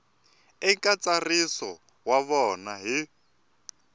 eka ntsariso wa vona hi